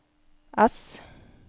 S